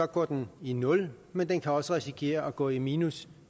går den i nul men den kan også risikere at gå i minus